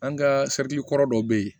An ka kɔrɔ dɔ bɛ yen